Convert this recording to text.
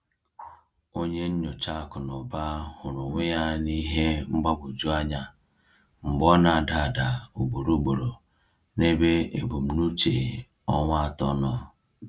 Onye nyocha akụ na ụba hụrụ onwe ya n’ihe mgbagwoju anya mgbe ọ na-ada ada ugboro ugboro n’ebe ebumnuche ọnwa atọ nọ.